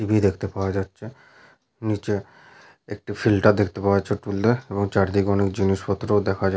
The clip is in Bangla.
টিভি দেখতে পাওয়া যাচ্ছে। নিচে একটি ফিল্টার দেখতে পাওয়া যাচ্ছে টুল এ এবং চারিদিকে অনেক জিনিসপত্রও দেখা যা --